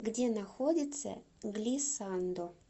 где находится глисандо